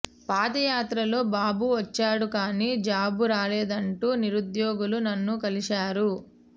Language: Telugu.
పాదయాత్రలో బాబు వచ్చాడు కానీ జాబు రాలేదంటూ నిరుద్యోగులు నన్ను కలిశారు